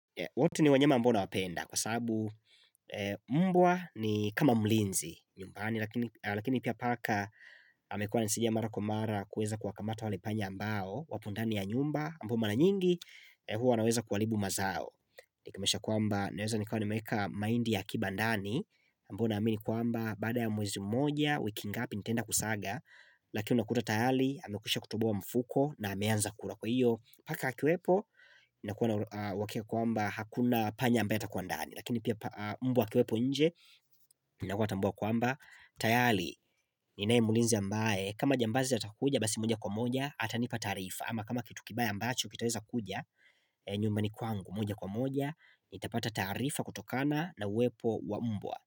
Wote ni wanyama ambao nawapenda kwa sababu mbwa ni kama mlinzi nyumbani lakini pia paka amekuwa ananisaidia mara kwa mara kuweza kuwakamata wale panya ambao wapo ndani ya nyumba ambapo mara nyingi huwa wanaweza kuharibu mazao. Ina maanisha kwamba, naweza nikawa nimeweka mahindi ya kibandani ambayo naamini kwamba, baada ya mwezi mmoja, wiki ngapi nitaenda kusaga Lakini unakuta tayari, amekwisha kutuboa mfuko na ameanza kula kwa hiyo, paka akiwepo, nakuwa na uhakika kwamba, hakuna panya ambaye atakua ndani lakini pia mbwa akiwepo nje, nakuwa natambua kwamba tayari, ninae mulinzi ambae, kama jambazi atakuja, basi moja kwa moja, ata nipa taarifa ama kama kitu kibaya ambacho, kitaweza kuja, nyumbani kwangu, moja kwa moja nitapata taarifa kutokana na uwepo wa mbwa.